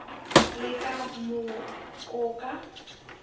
le ka moo o ka